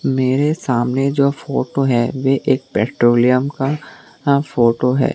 मेरे सामने जो फोटो है वे एक पेट्रोलियम का फोटो है।